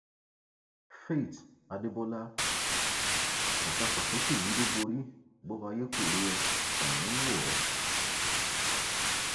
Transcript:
faith adébọlá ọtàfàsókè yídóbòrí bòbà ayé kò rí ó tọrùn ń wò ó